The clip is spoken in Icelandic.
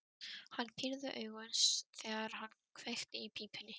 Hann pírði augun, þegar hann kveikti í pípunni.